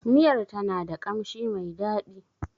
Miyar ta na da ƙamshin mai dadi.